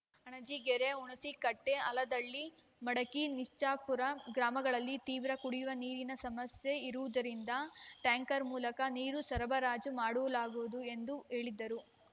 ಅಣಜಿಗೇರಿ ಹುಣಸಿಕಟ್ಟಿ ಆಲದಹಳ್ಳಿ ಮಡಕಿ ನಿಚ್ಚಾಪುರ ಗ್ರಾಮಗಳಲ್ಲಿ ತೀವ್ರ ಕುಡಿಯುವ ನೀರಿನ ಸಮಸ್ಯೆ ಇರುವುದರಿಂದ ಟ್ಯಾಂಕರ ಮೂಲಕ ನೀರು ಸರಬರಾಜು ಮಾಡು ಲಾಗುವುದು ಎಂದು ಹೇಳಿದರು